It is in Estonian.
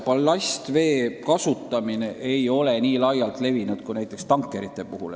Ballastvee kasutamine ei ole seal nii laialt levinud kui näiteks tankerite puhul.